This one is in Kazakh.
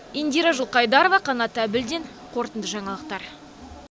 индира жылқайдарова қанат әбілдин қорытынды жаңалықтар